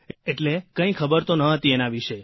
એટલે કંઇ ખબર તો નહોતી એના વિશે